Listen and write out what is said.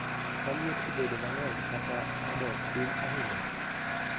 ka liet obedo mang'eny kata odok piny ahinya